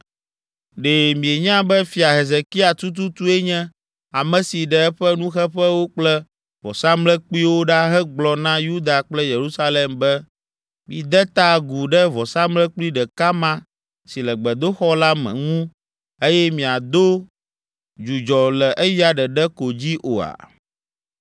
Ɖe mienya be Fia Hezekia tututue nye ame si ɖe eƒe nuxeƒewo kple vɔsamlekpuiwo ɖa hegblɔ na Yuda kple Yerusalem be, ‘Mide ta agu ɖe vɔsamlekpui ɖeka ma si le gbedoxɔ la me ŋu eye miado dzudzɔ le eya ɖeɖe ko dzi’ oa?